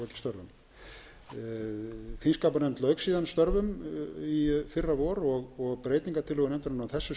sem þingskapanefnd hafði ekki lokið störfum þingskapanefnd lauk síðan störfum í fyrravor og breytingartillögur nefndarinnar á þessu